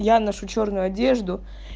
я ношу чёрную одежду